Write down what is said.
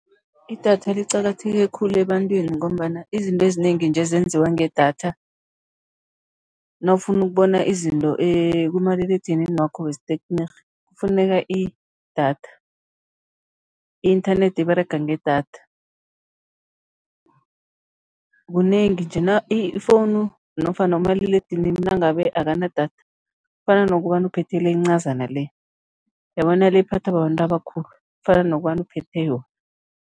Idatha liqakatheke khulu ebantwini ngombana izinto ezinengi nje zenziwa ngedatha, nawufuna ukubona izinto kumaliledinini wakho wesithekniki kufuneka idatha, i-inthanethi iberega ngedatha, kunengi njena. Ifowunu nofana umaliledinini nangabe akanadatha, kufana nokobana uphethe le encazana le, uyabona le ephathwa babantu abakhulu, kufana nokobana uphethe yona.